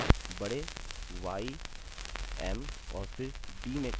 अतः यह इस प्रकार रूप लेगा